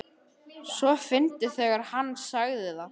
. svo fyndið þegar HANN sagði það!